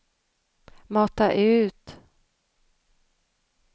mata ut